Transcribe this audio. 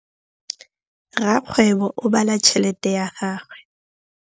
Rakgwêbô o bala tšheletê ya gagwe.